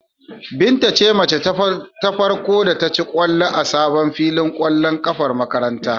Binta ce mace ta farko da ta ci ƙwallo a sabon filin ƙwallon ƙafar makarantar.